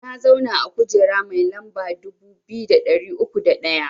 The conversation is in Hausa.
Na zauna a kujera mai lamba dubu biyu da ɗari uku da ɗaya